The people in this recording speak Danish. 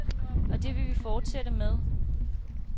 Og det vil vi fortsætte med.